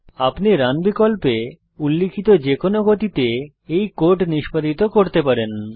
আপনি রান বিকল্পে উল্লিখিত যেকোনো গতিতে এই কোড নিষ্পাদিত করতে পারেন